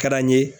Ka d'an ye